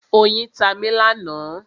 Oyin ta mi lánàá.